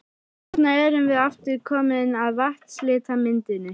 Þarna erum við aftur komin að vatnslitamyndinni.